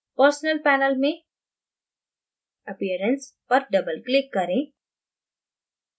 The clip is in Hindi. personal panel में appearance पर double click करें